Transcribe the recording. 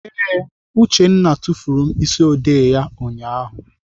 Ee, Uchenna tufuru mkpịsịodee ya ụnyaahụ.